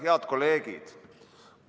Head kolleegid!